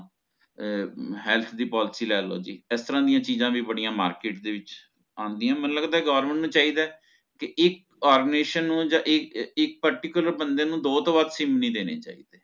ਅਹ health ਦੀ policy ਲੇਲੋ ਜੀ ਇਸ ਤਰਹ ਦੀ ਚੀਜ਼ਾ ਵੀ ਬੜੀ market ਦੇ ਵਿੱਚ ਆਂਦਿਆ ਮੈਨੂ ਲਗਦਾ government ਨੂੰ ਚਾਹੀਦਾ ਹੈ ਇਕ formation ਨੂ ਯਾ ਇਕ ਇਕ particular ਬੰਦੇ ਨੂ ਦੋ ਟੋਹ ਵਧ ਸਿਮ ਨੀ ਦੇਣੀ ਚਾਹੀਦੀ